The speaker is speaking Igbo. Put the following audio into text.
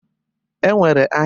E nwere ahịa Orie.